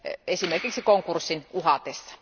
esimerkiksi konkurssin uhatessa.